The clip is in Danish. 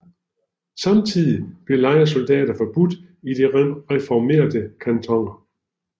Samtidig blev lejesoldater forbudt i de reformerte kantoner